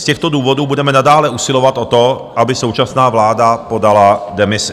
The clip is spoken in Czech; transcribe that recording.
Z těchto důvodů budeme nadále usilovat o to, aby současná vláda podala demisi.